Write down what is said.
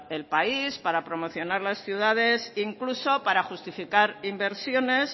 el país para promocionar las ciudades incluso para justificar inversiones